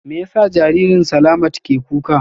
Me yasa jaririn Slamat ke kuka?